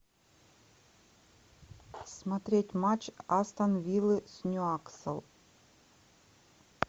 смотреть матч астон виллы с ньюкасл